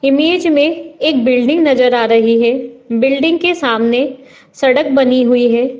Image में एक building नजर आ रही है। बिल्डिंग के सामने सड़क बनी हुई है।